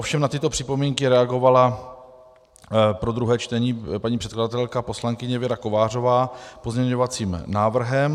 Ovšem na tyto připomínky reagovala pro druhé čtení paní předkladatelka poslankyně Věra Kovářová pozměňovacím návrhem.